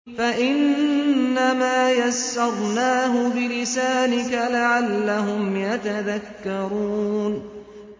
فَإِنَّمَا يَسَّرْنَاهُ بِلِسَانِكَ لَعَلَّهُمْ يَتَذَكَّرُونَ